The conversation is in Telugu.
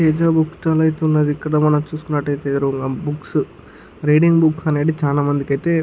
ఐతుంది. ఇక్కడ మనం చూసుకుంట్ల ఐతే బుక్స్ రీడింగ్ బుక్స్ ఐతే చాలా మందికి ఐతే--